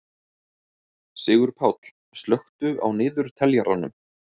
Sigurpáll, slökktu á niðurteljaranum.